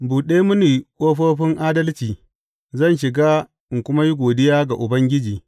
Buɗe mini ƙofofin adalci; zan shiga in kuma yi godiya ga Ubangiji.